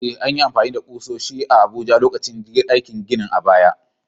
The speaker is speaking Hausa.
Eh, an yi amfani da ƙusoshi a Abuja lokacin aikin ginin a baya.